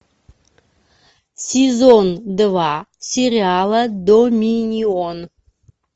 сезон два сериала доминион